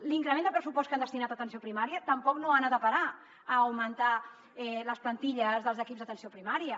l’increment de pressupost que han destinat a atenció primària tampoc no ha anat a parar a augmentar les plantilles dels equips d’atenció primària